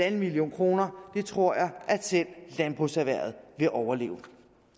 en million kroner det tror jeg at selv landbrugserhvervet vil overleve